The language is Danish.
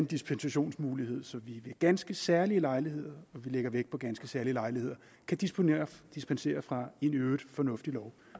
dispensationsmulighed så vi ved ganske særlige lejligheder og vi lægger vægt på ganske særlige lejligheder kan dispensere dispensere fra en i øvrigt fornuftig lov